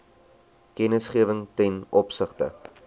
kennisgewing ten opsigte